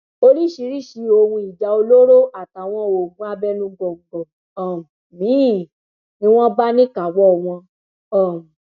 oríṣiríṣii ohun ìjà olóró àtàwọn oògùn abẹnugọńgọ um míín ni wọn bá níkàáwọ wọn um